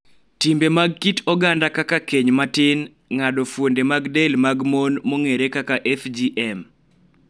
Timbe mag kit oganda kaka keny matin, ng�ado fuonde mag del mag mon (FGM),